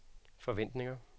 forventninger